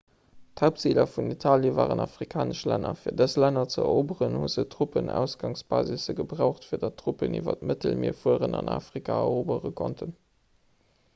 d'haaptziler vun italie waren afrikanesch länner fir dës länner ze eroberen hu se truppenausgangsbasisse gebraucht fir datt truppen iwwer d'mëttelmier fueren an afrika erobere konnten